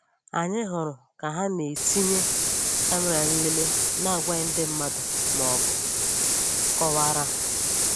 Anyị hụrụ ka ha na-etinye kàmèrà nlele na-agwaghị ndị mmad maọbụ kọwaara ha